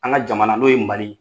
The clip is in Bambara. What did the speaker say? An ka jamana n'o ye mali ye